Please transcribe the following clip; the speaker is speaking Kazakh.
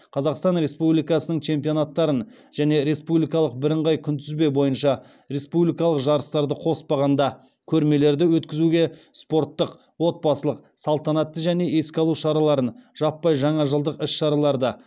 қазақстан республикасының чемпионаттарын және республикалық жарыстарды қоспағанда көрмелерді өткізуге спорттық отбасылық салтанатты және еске алу іс шараларын жаппай жаңа жылдық іс шараларды